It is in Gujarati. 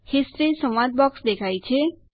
હિસ્ટોરી સંવાદ બોક્સ દેખાય છે